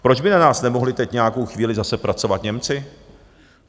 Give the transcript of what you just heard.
Proč by na nás nemohli teď nějakou chvíli zase pracovat Němci?